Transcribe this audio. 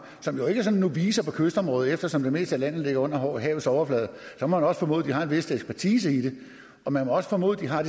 som jo ikke er sådan novicer på kystområdet eftersom det meste af landet ligger under havets overflade må man også formode at de har en vis ekspertise og man må også formode at de har